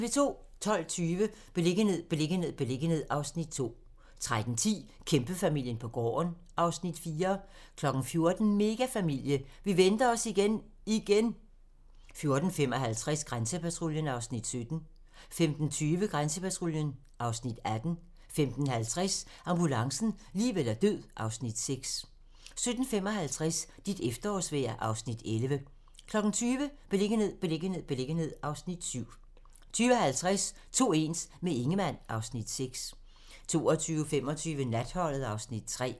12:20: Beliggenhed, beliggenhed, beliggenhed (Afs. 2) 13:10: Kæmpefamilien på gården (Afs. 4) 14:00: Megafamilie - vi venter os igen, igen! 14:55: Grænsepatruljen (Afs. 17) 15:20: Grænsepatruljen (Afs. 18) 15:50: Ambulancen - liv eller død (Afs. 6) 17:55: Dit efterårsvejr (Afs. 11) 20:00: Beliggenhed, beliggenhed, beliggenhed (Afs. 7) 20:50: To ens - med Ingemann (Afs. 6) 22:25: Natholdet (Afs. 3)